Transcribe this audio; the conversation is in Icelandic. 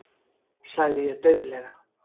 sagði ég dauflega.